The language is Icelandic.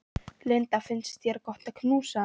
Linda: Finnst þér gott að knúsa hann?